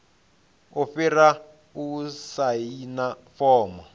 i fhira u saina fomo